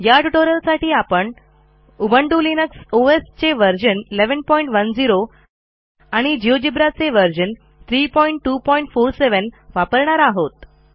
या ट्युटोरियलासाठी आपण उबुंटू लिनक्स ओएस चे व्हर्शन 1110 आणि जिओजेब्रा चे व्हर्शन 32470 वापरणार आहोत